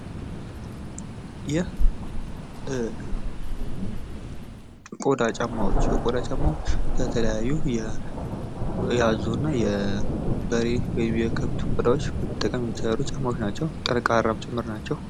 የቆዳ ጫማዎች የቆዳ ጫማዎች የተለያዩ የአዞና የበሬ ወይም የከብት ቆዳዎች የሚሰሩ ጫማዎች ናቸው ጠንካራ ናቸው።